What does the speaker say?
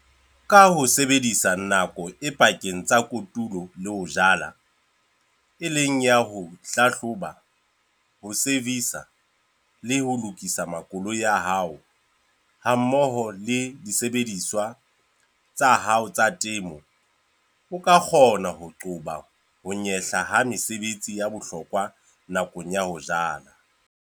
Ka ho sebedisa nako e pakeng tsa kotulo le ho jala, e leng ya ho hlahloba, ho "servisa" le ho lokisa makoloi a hao hammoho le disebediswa tsa hao tsa temo, o ka kgona ho qoba ho nyehla ha mesebetsi ya bohlokwa nakong ya ho jala.